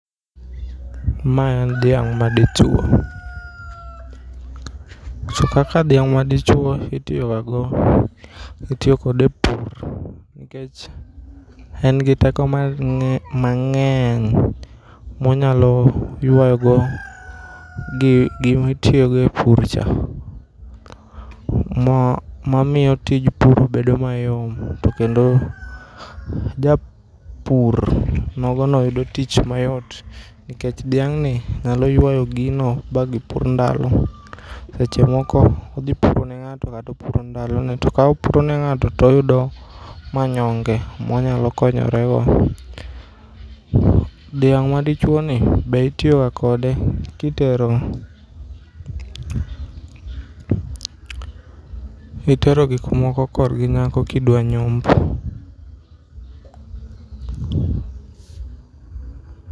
Mae en dhiang' ma dichwo. To kaka dhiang' ma dichwo itiyogago, itiyo kode e pur. Nikech en gi teko mar mangény ma onyalo ywa go gi gima itiyogo e pur cha. Mo momiyo tij pur bedo mayom. To kendo japur nogono yudo tich mayot. Nikech dhiang'ni nyalo ywayo gino ba gipur ndalo. Seche moko odhi puro ne ngáto, kata opuro ndalone, to ka opuro ne ngáto to oyudo manyonge, ma onyalo konyorego. Dhiang' ma dichwoni, be itiyoga kode ka itero, itero gik moko korgi nyako ka idwa nyomb.